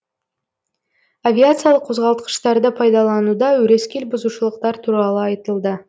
авиациялық қозғалтқыштарды пайдалануда өрескел бұзушылықтар туралы айтылды